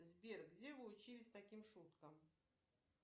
сбер где вы учились таким шуткам